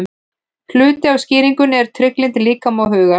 Hluti af skýringunni er trygglyndi líkama og hugar.